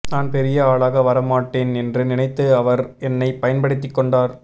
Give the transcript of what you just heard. நான் பெரிய ஆளாக வர மாட்டேன் என்று நினைத்து அவர் என்னை பயன்படுத்திக் கொண்டார்